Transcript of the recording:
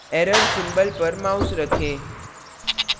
error symbol पर mouse रखें